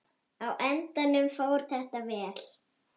Á endanum fór þetta vel.